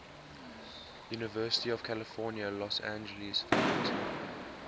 university of california los angeles faculty